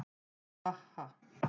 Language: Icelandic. Ha ha ha.